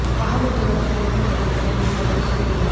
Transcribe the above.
वाहन उद्योगातील अनेक मोठ्या कंपन्यांनी उत्पादन कमी केले आहे